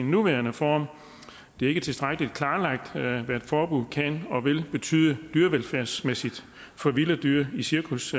nuværende form det er ikke tilstrækkelig klarlagt hvad et forbud kan og vil betyde dyrevelfærdsmæssigt for vilde dyr i cirkus